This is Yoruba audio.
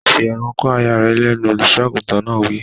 Fi ẹnu kò aya rẹ lẹ́nu! Olùsọ àgùntàn náà wí.